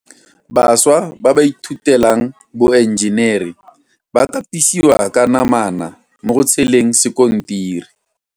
Bašwa ba ba ithutelang boenjenere ba katisiwa ka namana mo go tsheleng sekontiri.